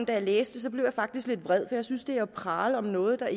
da jeg læste det blev jeg faktisk lidt vred for jeg synes det er at prale af noget der